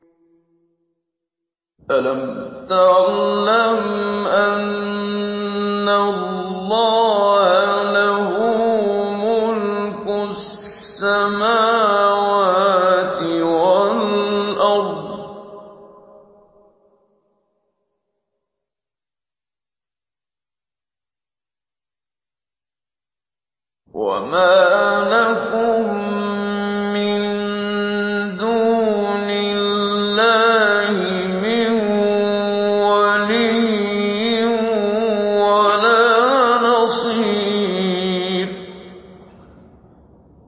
أَلَمْ تَعْلَمْ أَنَّ اللَّهَ لَهُ مُلْكُ السَّمَاوَاتِ وَالْأَرْضِ ۗ وَمَا لَكُم مِّن دُونِ اللَّهِ مِن وَلِيٍّ وَلَا نَصِيرٍ